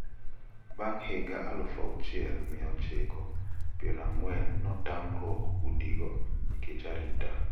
Bang` higa aluf achiel mia ochiko piero ang`wen notamruok udigo nikech arita.